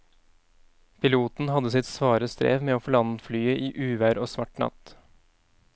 Piloten hadde sitt svare strev med å få landet flyet i uvær og svart natt.